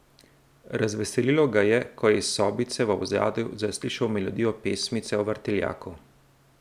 Razveselilo ga je, ko je iz sobice v ozadju zaslišal melodijo pesmice o vrtiljaku.